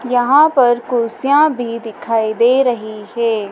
यहां पर कुर्सियां भी दिखाई दे रही है।